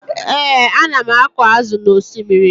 Ee, ana m akọ azụ n'osimiri